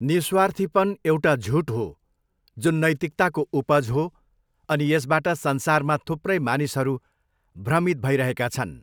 निःस्वार्थीपन एउटा झुठ हो जुन नैतिकताको उपज हो अनि यसबाट संसारमा थुप्रै मानिसहरू भ्रमित भइरहेका छन्।